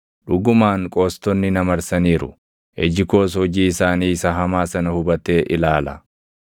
Dhugumaan qoostonni na marsaniiru; iji koos hojii isaanii isa hamaa sana hubatee ilaala.